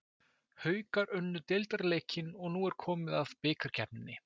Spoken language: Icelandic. Haukar unnu deildarleikinn og nú er komið að bikarkeppninni.